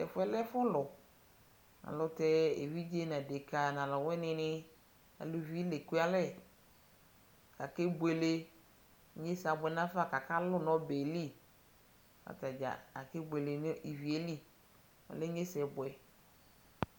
Tɛfuɛ lɛɛ ɛfulu ayɛlutɛɛ eviɖʒe nadeka naluwinini naluvi niekualɛ kakebuele kakaluu nɔbɛlii kataɖʒa akebuele nivieli, ɔlɛɛ inyesɛbuɛ